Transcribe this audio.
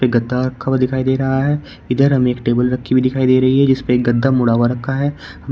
ये गद्दा रखा हुआ दिखाई दे रहा है इधर हमें एक टेबल रखी हुई दिखाई दे रही है जिसपे एक गद्दा मुड़ा हुआ रखा है।